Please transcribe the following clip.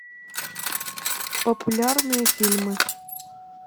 популярные фильмы